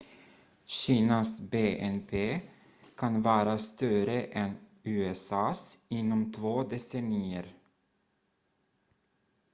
kinas bnp kan vara större än usa:s inom två decennier